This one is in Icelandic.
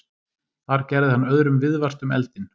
Þar gerði hann öðrum viðvart um eldinn.